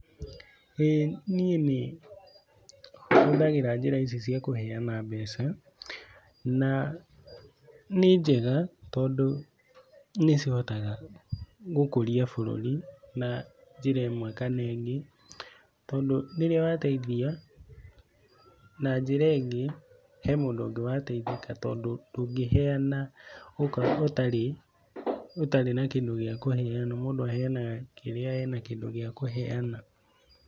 Niĩ nĩhũthagĩra njĩra ici cia kũheana mbeca na nĩ njega tondũ nĩcihotaga gũkũria bũrũri na njĩra ĩmwe kana ĩngĩ tondũ rĩrĩa wateithia na njĩra ĩngĩ, he mũndũ ũngĩ wateĩthĩka tondũ ndũngĩheana ũtarĩ na kĩndũ gĩa kũheana, mũndũ aheanaga kĩrĩa ena kĩndũ gĩa kũheana.